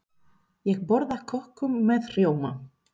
Ég borða köku með rjóma.